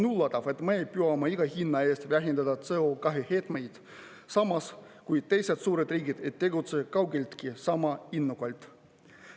On …, et me püüame iga hinna eest vähendada CO2 heitmeid, samas kui teised suured riigid ei tegutse kaugeltki sama innukalt.